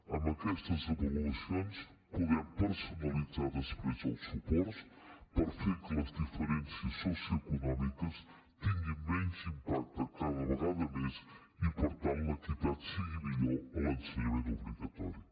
amb aquestes avaluacions podem personalitzar després els suports per fer que les diferències socioeconòmiques tinguin menys impacte cada vegada més i per tant l’equitat sigui millor a l’ensenyament obligatori